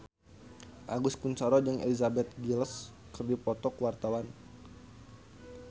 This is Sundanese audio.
Agus Kuncoro jeung Elizabeth Gillies keur dipoto ku wartawan